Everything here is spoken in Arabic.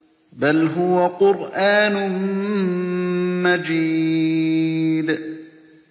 بَلْ هُوَ قُرْآنٌ مَّجِيدٌ